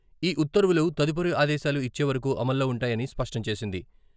ఈ ఉత్తర్వులు తదుపరి ఆదేశాలు ఇచ్చే వరకు అమల్లో ఉంటాయని స్పష్టం చేసింది.